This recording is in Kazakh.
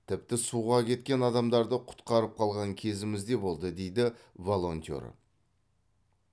тіпті суға кеткен адамдарды құтқарып қалған кезіміз де болды дейді волонтер